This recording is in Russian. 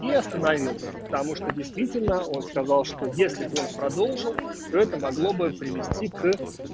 и остановился потому что действительно он сказал что если бы он продолжил то это могло бы привести к